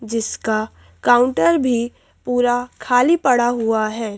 जिसका काउंटर भी पूरा खाली पड़ा हुआ है।